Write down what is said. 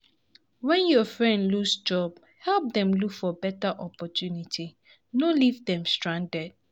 When your friend lose job, help dem look for better opportunities, no leave dem stranded.